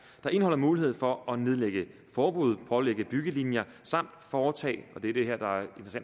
der indeholder mulighed for at nedlægge forbud pålægge byggelinjer samt foretage